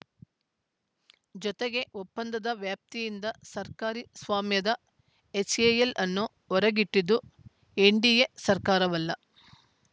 ಜೊತೆಗೆ ಒಪ್ಪಂದದ ವ್ಯಾಪ್ತಿಯಿಂದ ಸರ್ಕಾರಿ ಸ್ವಾಮ್ಯದ ಎಚ್‌ಎಎಲ್‌ ಅನ್ನು ಹೊರಗಿಟ್ಟಿದ್ದು ಎನ್‌ಡಿಎ ಸರ್ಕಾರವಲ್ಲ